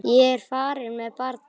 Ég er farin með barnið!